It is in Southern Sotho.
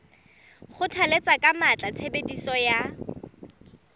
kgothalletsa ka matla tshebediso ya